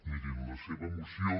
mirin la seva moció